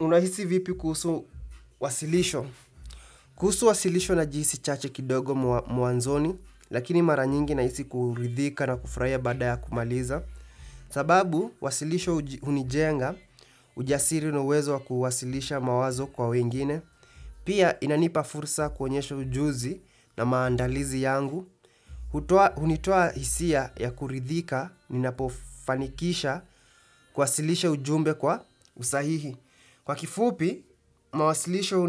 Unahisi vipi kuhusu wasilisho? Kuhusu wasilisho na jinsi chache kidogo mwanzoni, lakini mara nyingi nahisi kuridhika na kufurahia badaya kumaliza. Sababu, wasilisho hunijenga ujasiri na uwezo wa kuwasilisha mawazo kwa wengine. Pia, inanipa fursa kuonyesha ujuzi na maandalizi yangu. Hunitoa hisia ya kuridhika, ninapofanikisha kuwasilisha ujumbe kwa usahihi. Kwa kifupi, mawasilisho